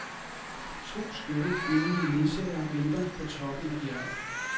To skønne, kvindelige ledsagere venter på toppen af bjerget.